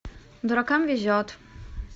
дуракам везет